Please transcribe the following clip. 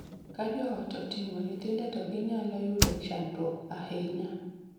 ka joot oting'o nyithindo to ginyalo yudo chandruok ahinya